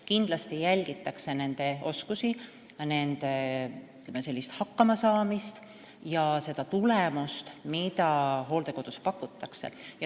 Kindlasti jälgitakse nende oskusi ja, ütleme, hakkamasaamist ning seda, milline on hooldekodus pakutav teenus.